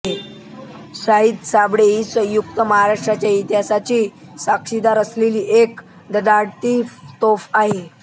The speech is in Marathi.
शाहीर साबळे ही संयुक्त महाराष्ट्राच्या इतिहासाची साक्षीदार असलेली एक धडाडती तोफ होती